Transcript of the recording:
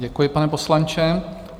Děkuji, pane poslanče.